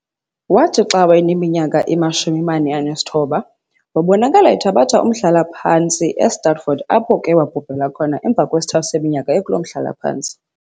Waathi xa wayeminyaka imashumi-mane anesithoba wabonakala ethabatha umhlalaphantsi e-Stratford, apho ke wabhubhela khona emva kwesithathu seminyaka ekuloo mhlalaphantsi.